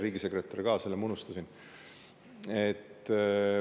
Riigisekretär ka, selle ma unustasin.